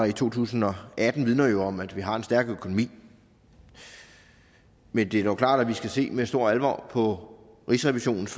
i to tusind og atten vidner jo om at vi har en stærk økonomi men det er klart at vi skal se med stor alvor på rigsrevisionens